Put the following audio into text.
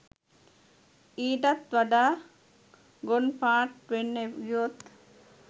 ඊටත් වඩා ගොන්පාට් වෙන්න ගියොත්